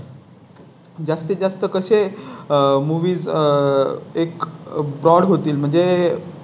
स्तीत जास्त कसे आहे Movies आह एक Brand होतील म्हणजे